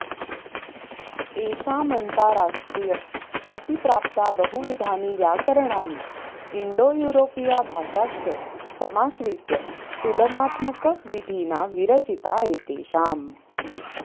एषामन्ताराष्ट्रियख्यातिप्राप्ता बहुविधानि व्याकरणानि इण्डोयूरोपीया भाषाश्च समाश्रित्य तुलनात्मकविधिना विरचिता एतेषां